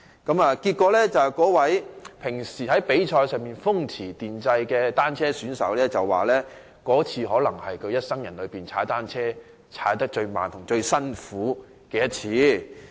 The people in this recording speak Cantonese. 結果，那位平時在比賽時風馳電掣的單車選手表示，那次可能是他一生人踏單車最慢和最辛苦的一次。